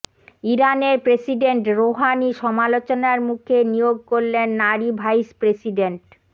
ইরানের president Rouhani সমালোচনার মুখে নিয়োগ করলেন নারী ভাইস প্রেসিডেন্ট